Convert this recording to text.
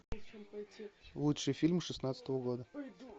лучший фильм шестнадцатого года